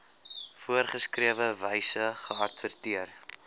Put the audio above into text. voorgeskrewe wyse geadverteer